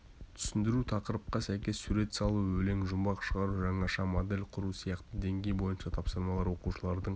түсіндіру тақырыпқа сәйкес сурет салу өлең-жұмбақ шығару жаңаша модель құру сияқты деңгей бойынша тапсырмалар оқушылардың